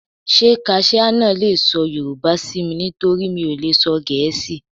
Ṣé kaṣíá náà le sọ Yorùbá sí mi? nítorí mi ò lè sọ Gẹ̀ẹ́sì.